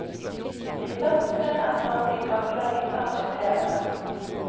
De første trinn er tatt i en kartlegging av bakteriene.